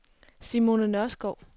Simone Nørskov